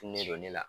don ne la